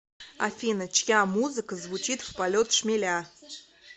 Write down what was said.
афина чья музыка звучит в полет шмеля